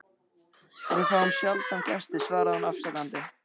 Við fáum sjaldan gesti svaraði hún afsakandi.